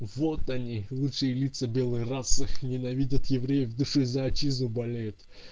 вот они лучшие лица белой расы ненавидят евреев в душе за отчизну болеют